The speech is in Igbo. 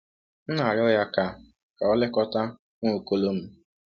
M na-arịọ ya ka ka o lekọta Nwaokolo m.